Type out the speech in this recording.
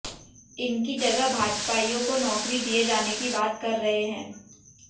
इनकी जगह भाजपाईयों को नौकरी दिए जाने की बात कर रहे हैं